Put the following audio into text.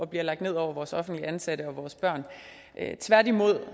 blev lagt ned over vores offentligt ansatte og vores børn tværtimod